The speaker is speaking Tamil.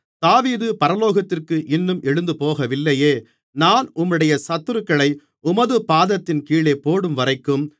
தாவீது பரலோகத்திற்கு இன்னும் எழுந்துபோகவில்லையே நான் உம்முடைய சத்துருக்களை உமது பாதத்தின் கீழே போடும்வரைக்கும்